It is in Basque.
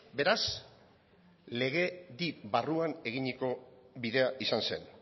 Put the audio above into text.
beraz legedi barruan eginiko bidea izan zen